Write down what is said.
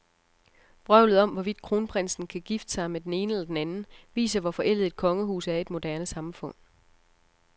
Vrøvlet om, hvorvidt kronprinsen kan gifte sig med den ene eller den anden, viser, hvor forældet et kongehus er i et moderne samfund.